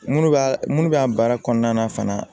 Minnu b'a minnu bɛ an baara kɔnɔna na fana